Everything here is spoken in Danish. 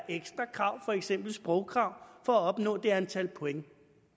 ekstra krav for eksempel sprogkrav for at opnå det antal point